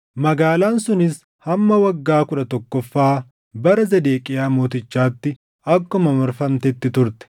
Magaalaan sunis hamma waggaa kudha tokkoffaa bara Zedeqiyaa Mootichaatti akkuma marfamtetti turte.